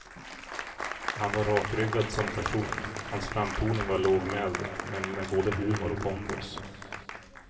Han var rakryggad som person, hans framtoning var lågmäld men med både humor och pondus.